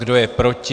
Kdo je proti?